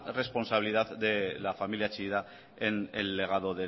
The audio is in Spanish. responsabilidad de la familia chillida en legado